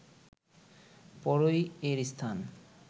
পরই এর স্থান